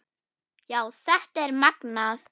Já, þetta er magnað.